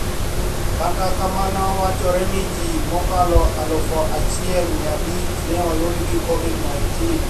Kata kamano wachore ni ji mokalo aluf achiel mia abich ne oyud gi COVID - 19